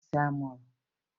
ofe egusi amuru?